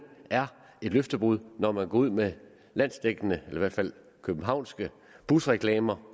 er et løftebrud når man går ud med landsdækkende eller i hvert fald københavnske busreklamer